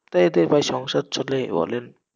তা এতে ভাই সংসার চলে বলেন?